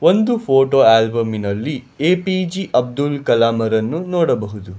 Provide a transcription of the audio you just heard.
ಒಂದು ಫೋಟೋ ಆಲ್ಬಂನಲ್ಲಿ A P J Abdul Kalam ಅರನ್ನು ನೋಡಬಹುದು.